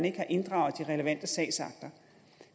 ikke har inddraget de relevante sagsakter